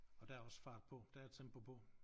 Og der også fart på der er tempo på